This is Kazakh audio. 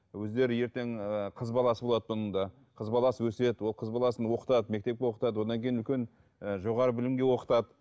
өздері ертең ыыы қыз баласы болады мұның да қыз баласы өседі ол қыз баласын оқытады мектепке оқытады одан кейін үлкен ііі жоғарғы білімге оқытады